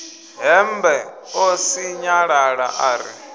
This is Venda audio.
hembe ḽo sinyalala ḽa ri